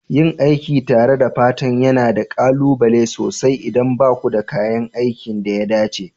Yin aiki tare da fata yana da ƙalubale sosai idan ba ku da kayan aikin da ya dace.